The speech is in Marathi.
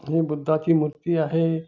हि बुद्धा ची मूर्ती आहे.